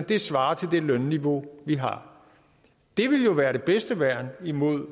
det svarer til det lønniveau de har det ville jo være det bedste værn imod